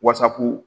Wasapu